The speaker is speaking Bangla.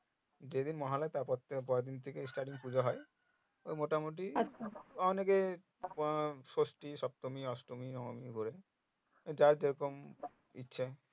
যেদিন মহালয়া তার পরের দিন starting পুজো হয় ওই মোটামোটি অনেকে আহ ষষ্টী সপ্তমী অষ্টমী ঘরে যে যেরকম ইচ্ছে